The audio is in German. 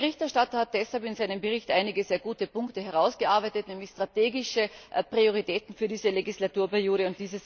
Der Berichterstatter hat deshalb in seinem Bericht einige sehr gute Punkte herausgearbeitet, nämlich strategische Prioritäten für diese Legislaturperiode.